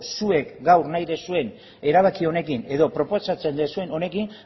zuek gaur nahi duzuen erabaki honekin edo proposatzen duzuen honekin